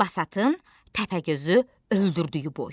Basatın Təpəgözü öldürdüyü boy.